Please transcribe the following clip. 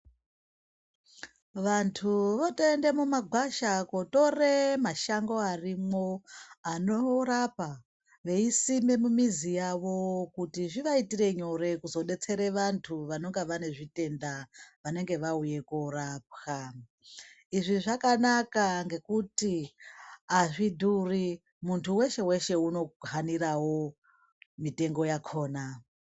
Vantu votoende mumagwasha kotore mashango arimwo anorapa veisime mumizi yawo kuti zvivaitire nyore kuzodetsere vantu vanenga vane zvitenda vanenge vauya korapwa izvi zvakanaka ngekuti azvidhuri muntu weshe weshe unohanirawo mutengo yakhona.